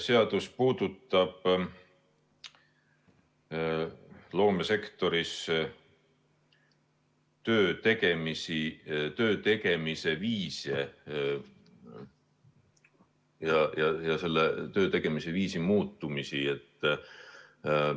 Seadus puudutab loomesektoris töötegemise viise ja töötegemise viiside muutumist.